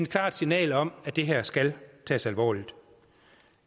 klart signal om at det her skal tages alvorligt